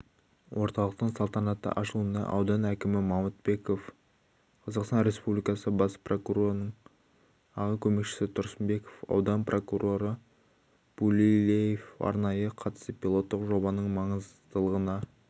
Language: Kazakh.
орталықтың салтанатты ашылуына аудан әкімі мамытбеков қазақстан республикасы бас прокурорының аға көмекшісі тұрсынбекова аудан прокуроры булеулиев арнайы қатысып пилоттық жобаның маңыздылығына